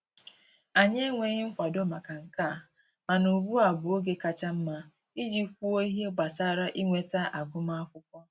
Anyị enweghị nkwado maka nke a, mana ugbu a bụ oge kacha mma iji kwuo ihe gbasara inweta agụmakwụkwọ